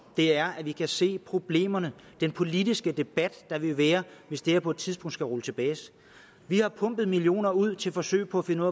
er at vi kan se problemerne den politiske debat der vil være hvis det her på et tidspunkt skal rulles tilbage vi har pumpet millioner ud til forsøg for at finde